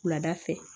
Wulada fɛ